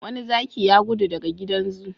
Wani zaki ya gudu daga gidan zoo.